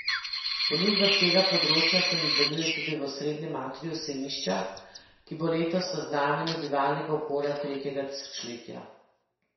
Ponudba s tega področja se nadaljuje tudi v osrednjem atriju sejmišča, ki bo letos v znamenju bivalnega okolja tretjega tisočletja.